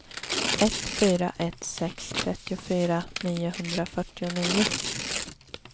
ett fyra ett sex trettiofyra niohundrafyrtionio